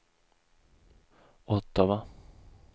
Ottawa